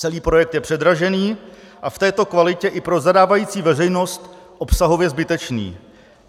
Celý projekt je předražený a v této kvalitě i pro zadávající veřejnost obsahově zbytečný.